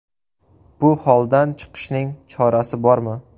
Bu holdan chiqishning chorasi bormi?